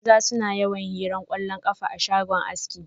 Maza suna yawan hiran kwallon kafa a shagon aski.